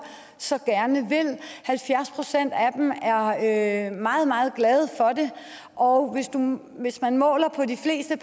så gerne vil halvfjerds procent af dem er meget meget glade for det og hvis man måler på de fleste